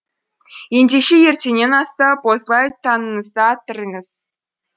ендеше ертеңнен астап осылай таңыңызды атырыңыз